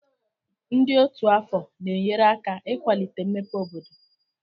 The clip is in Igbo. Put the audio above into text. Ndị otu afọ na-enyere aka ịkwalite mmepe obodo.